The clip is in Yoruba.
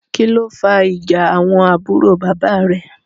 kilo fà ìjà àwọn àbúrò bàbá rẹ?